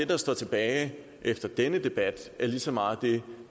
der står tilbage efter denne debat lige så meget det